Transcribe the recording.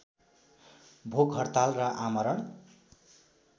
भोक हडताल र आमरण